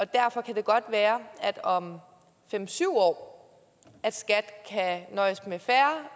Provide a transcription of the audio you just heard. derfor kan det godt være at skat om fem syv år kan nøjes med færre